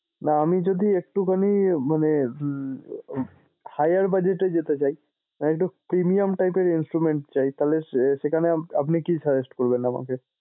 না আমি যদি এক্টুখানি মানে উম higher budget এ যেতে চাই মানে একটু premium type এর instrument চাই তাহলে সে~ সেখানে আপনি কী suggest করবেন আমাকে?